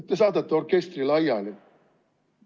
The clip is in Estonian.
Te saadate orkestri laiali.